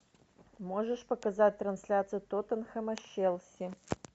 можешь показать трансляцию тоттенхэма с челси